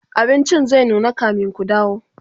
abincin zai nuna kamin Ku dawo